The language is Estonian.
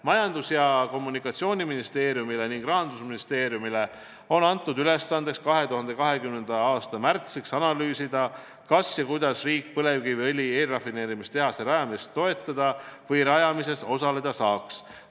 Majandus- ja Kommunikatsiooniministeeriumile ning Rahandusministeeriumile on antud ülesandeks 2020. aasta märtsiks analüüsida, kas riik saaks põlevkiviõli eelrafineerimise tehase rajamist toetada või selle rajamises osaleda, ja kui saaks, siis kuidas.